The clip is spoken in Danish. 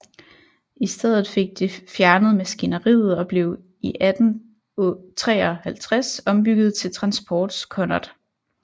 I stedet fik det fjernet maskineriet og blev i 1853 ombygget til transportskonnert